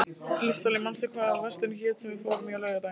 Listalín, manstu hvað verslunin hét sem við fórum í á laugardaginn?